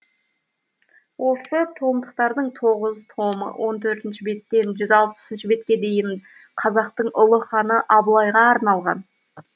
осы томдықтардың тоғыз томы он төртінші беттен жүз алпысыншы бетке дейін қазақтың ұлы ханы абылайға арналған